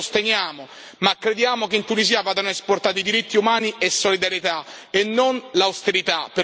Noi lo sosteniamo, ma crediamo che in Tunisia vadano esportati diritti umani e solidarietà, e non l'austerità.